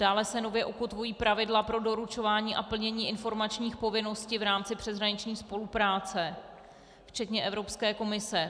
Dále se nově ukotvují pravidla pro doručování a plnění informačních povinností v rámci přeshraniční spolupráce včetně Evropské komise.